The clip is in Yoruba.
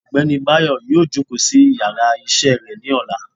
ọgbẹni bayo yóò jòkó sí íyarà iṣẹ re ni òlá